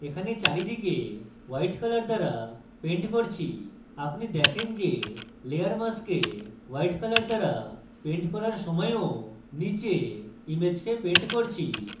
এখন আমি এখানে চারিদিকে white color দ্বারা paint করি এবং আপনি দেখেন যে layer mask white color দ্বারা paint করার সময়ও নীচে ইমেজকে paint করছি